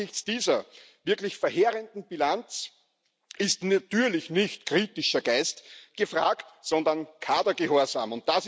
Angesichts dieser wirklich verheerenden Bilanz ist natürlich nicht kritischer Geist gefragt, sondern Kadergehorsam.